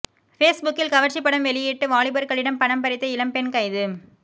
பேஸ்புக்கில் கவர்ச்சி படம் வெளியிட்டு வாலிபர்களிடம் பணம் பறித்த இளம்பெண் கைது